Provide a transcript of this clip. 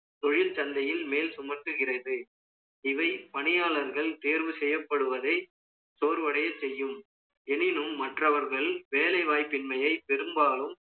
தொழில் சந்தையில் மேல் சுமக்குகிறது. இவன் பணியாளர்கள் தேர்வு செய்யப்படுவதை சோர்வடைய செய்யும். எனினும் மற்றவர்கள் வேலைவாய்ப்பின்மையை பெரும்பாலும்